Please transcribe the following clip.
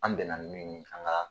An bɛ na nin min ye an ka